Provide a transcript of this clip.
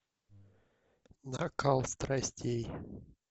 накал страстей